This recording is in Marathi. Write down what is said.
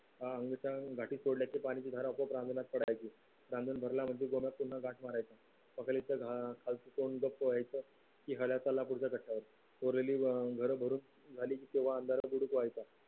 अह घाटीत सोडलेल्या पाण्याची धार अंगणात पडायचे रांजण भरला म्हणजे अं घरभरून झाली